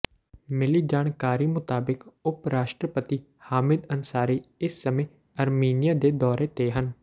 ਮਿਲੀ ਜਾਣਕਾਰੀ ਮੁਤਾਬਿਕ ਉਪਰਾਸ਼ਟਰਪਤੀ ਹਾਮਿਦ ਅੰਸਾਰੀ ਇਸ ਸਮੇਂ ਅਰਮੀਨੀਆਂ ਦੇ ਦੌਰੇ ਤੇ ਹਨ